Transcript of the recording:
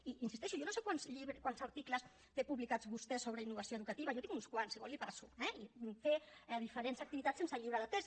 i hi insisteixo jo no sé quants articles té publicats vostè sobre innovació educativa jo en tinc uns quants si vol els hi passo eh i fer diferents activitats sense llibre de text